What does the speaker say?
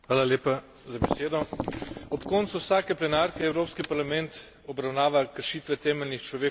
Ob koncu vsake plenarke Evropski parlament obravnava kršitve temeljnih človekovih pravic v tretjih državah.